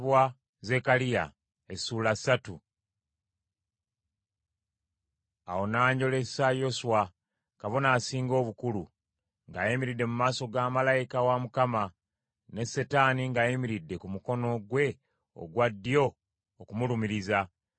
Awo n’anjolesa Yoswa, kabona asinga obukulu, ng’ayimiridde mu maaso ga malayika wa Mukama , ne Setaani ng’ayimiridde ku mukono gwe ogwa ddyo okumulumiriza.